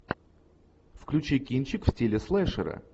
включи кинчик в стиле слэшера